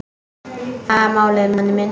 Það er málið, manni minn.